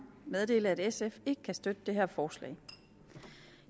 meddele at sf ikke kan støtte det her forslag